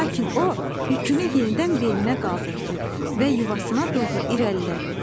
Lakin o, yükünü yenidən belinə qaldırdı və yuvasına doğru irəlilədi.